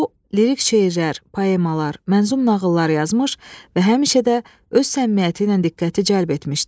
O lirik şeirlər, poemalar, mənzum nağıllar yazmış və həmişə də öz səmimiyyəti ilə diqqəti cəlb etmişdi.